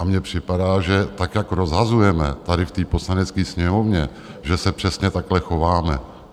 A mně připadá, že tak, jak rozhazujeme tady v té Poslanecké sněmovně, že se přesně takhle chováme!